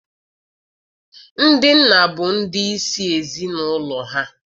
Ndị nna bụ ndị isi ezi n'ụlọ ha.